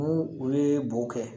N'u u ye bo kɛ